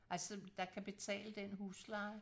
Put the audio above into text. Altså der kan betale den husleje